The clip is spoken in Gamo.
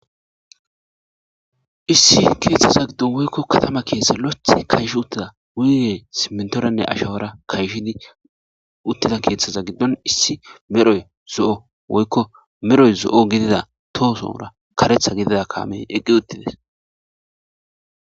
Issi keeththaza giddon woyko katama keththaza giddon kayshidi diza simintoranne ashawara kayshi uttida keeththaza giddon issi medhdhoy zo7o tohosora karethi gidida kaamey uttides.